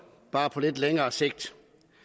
bare på lidt længere sigt